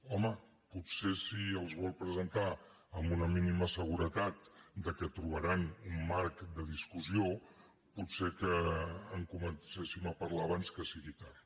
home potser si els vol presentar amb una mínima seguretat que trobaran un marc de discussió potser que en comencéssim a parlar abans que sigui tard